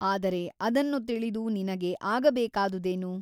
ಆದರೆ ಅದನ್ನು ತಿಳಿದು ನಿನಗೆ ಆಗಬೇಕಾದುದೇನು ?